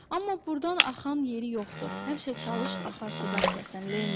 Amma burdan axan yeri yoxdu, həmişə çalış axar sudan içəsən, Lenni.